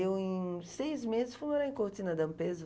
Eu, em seis meses, fui morar em Cortina D'Ampezzo.